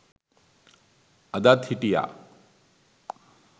අදත් හිටියා